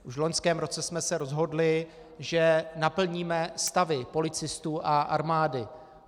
Už v loňském roce jsme se rozhodli, že naplníme stavy policistů a armády.